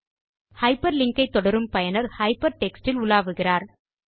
hyperlink களை தொடரும் பயனர் ஹைப்பர்டெக்ஸ்ட் இல் உலாவுகிறார்